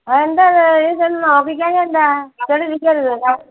അതെന്താ അത് നീ ചെന്ന് നോക്കിക്കാഞ്ഞത് എന്താ? വെച്ചോണ്ട് ഇരിക്കരുത്.